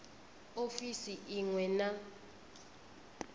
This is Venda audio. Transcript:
ofisini i ṅ we na